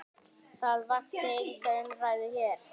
Það vakti enga umræðu hér.